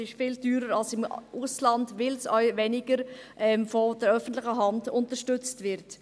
Es ist viel teurer als im Ausland, weil es auch weniger durch die öffentliche Hand unterstützt wird.